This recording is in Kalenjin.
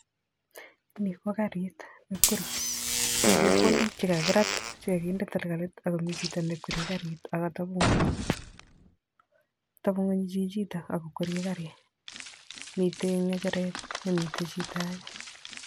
Ni ko karit nekwerie, mi chepkondok che kakiraat che kakinde talkalit ako mi chito nekwerie karit ak kateb ng'uny katebng'uny chichitok ak kokwerie karit. Mitei ng'echeret ne mitei chito age